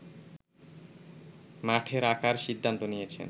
মাঠে রাখার সিদ্ধান্ত নিয়েছে